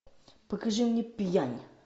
покажи мне пьянь